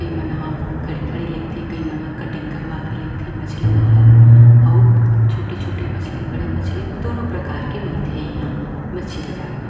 ये मन ह खड़े खड़े लेथे कई मन ह कटिंग करावा थे मछली मन अउ छोटे छोटे मछली बड़े बड़े मछली दोनों प्रकार के मिलते थे इहाँ मछी बाजार में--